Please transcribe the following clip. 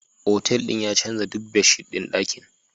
Hotel din ya canza duk bedsheet ɗin ɗakin